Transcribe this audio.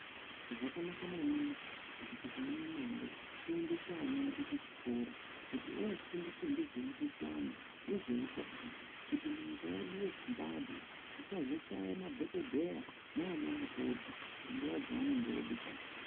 Zvakanaka maningi kuti tikaone mare ,tiendese ana edu kuchikora kuti ofundiswa ngezvemikhuhlani, nezveutano, kuti munyika yedu yeZimbabwe tisazoshaye madhokodheya naanamukoti, panguva dzaanenge oodikanwa.